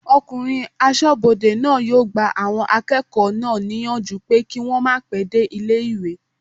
Ọkùnrin asọ́bodè náà yóò gba àwọn akẹ́kọ̀ọ́ náà níyànjú pé kí wọ́n màá pẹ́ dé ilé-ìwé